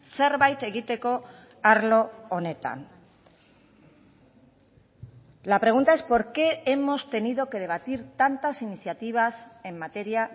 zerbait egiteko arlo honetan la pregunta es por qué hemos tenido que debatir tantas iniciativas en materia